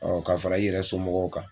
ka fara i yɛrɛ somɔgɔw kan